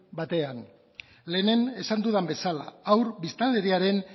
batean lehen esan dudan bezala haur biztanleriaren